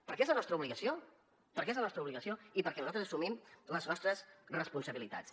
perquè és la nostra obligació perquè és la nostra obligació i perquè nosaltres assumim les nostres responsabilitats